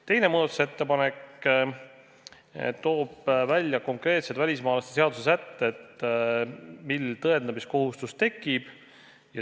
Teine muudatusettepanek toob konkreetsed välismaalaste seaduse sätted, mil tõendamiskohustus tekib.